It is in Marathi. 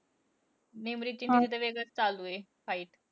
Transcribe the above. निमरीतची, तिची तर वेगळंचं चालूये fight.